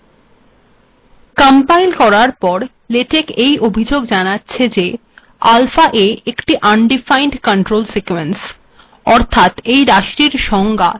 কিন্তু লেটেক অভিযোগ জানাচ্ছে যে আলফাa এই রািশিটর কোনো সংজ্ঞা লেটেকে নেই